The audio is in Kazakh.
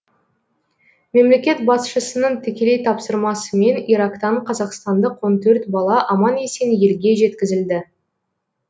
мемлекет басшысының тікелей тапсырмасымен ирактан қазақстандық он төрт бала аман есен елге жеткізілді